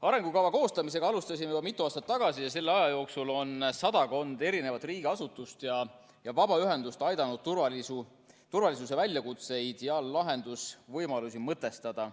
Arengukava koostamisega alustasime juba mitu aastat tagasi ja selle aja jooksul on sadakond riigiasutust ja vabaühendust aidanud turvalisuse väljakutseid ja lahendusvõimalusi mõtestada.